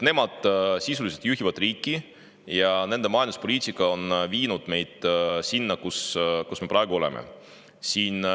Nemad sisuliselt juhivad riiki ja nende majanduspoliitika on viinud meid sinna, kus me praegu oleme.